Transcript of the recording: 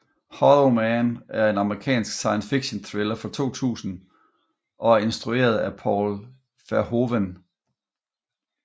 Hollow Man er en amerikansk science fictionthriller fra 2000 og er instrueret af Paul Verhoeven